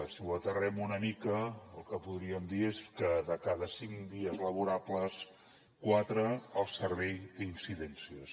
si ho aterrem una mica el que podríem dir és que de cada cinc dies laborables quatre el servei té incidències